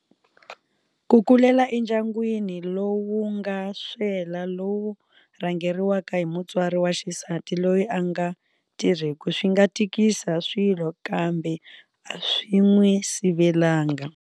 Ku kulela endyangwini lowu nga swela lowu rhangeriwaka hi mutswari wa xisati loyi a nga tirheku swi nga tikisa swilo kambe a swi n'wi sivelanga.